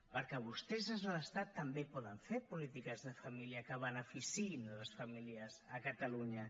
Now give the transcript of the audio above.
perquè vostès des de l’estat també poden fer polítiques de família que beneficiïn les famílies a catalunya